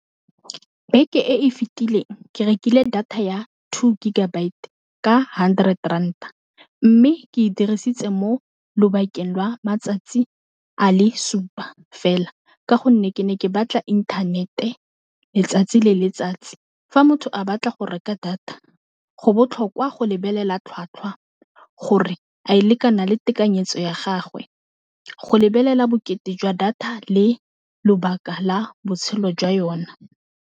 Beke e e fitileng ke rekile data ya two gigabyte ka hundred rand a mme ke e dirisitse mo lobakeng lwa matsatsi a le supa fela, ka gonne ke ne ke batla internet-e letsatsi le letsatsi, fa motho a batla go reka data go botlhokwa go lebelela tlhwatlhwa gore a e lekana le tekanyetso ya gagwe, go lebelela bokete jwa data le lobaka la botshelo jwa yone.